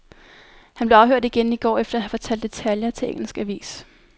Han blev afhørt igen i går efter at have fortalt detaljer til engelsk avis.